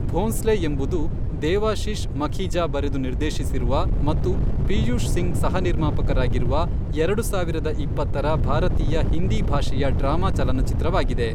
ಭೋಂಸ್ಲೆ ಎಂಬುದು, ದೇವಾಶೀಶ್ ಮಖೀಜಾ ಬರೆದು ನಿರ್ದೇಶಿಸಿರುವ ಮತ್ತು ಪಿಯೂಷ್ ಸಿಂಗ್ ಸಹ ನಿರ್ಮಾಪಕರಾಗಿರುವ, ಎರಡು ಸಾವಿರದ ಇಪ್ಪತ್ತರ ಭಾರತೀಯ ಹಿಂದಿ ಭಾಷೆಯ ಡ್ರಾಮಾ ಚಲನಚಿತ್ರವಾಗಿದೆ.